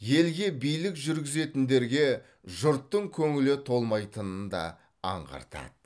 елге билік жүргізетіндерге жұрттың көңілі толмайтынын да аңғартады